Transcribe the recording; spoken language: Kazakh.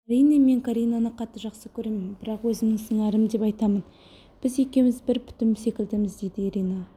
әрине мен каринаны қатты жақсы көремін бірақ өзімнің сыңарым деп айтамын біз екеуміз бір бүтін секілдіміз дейді ирина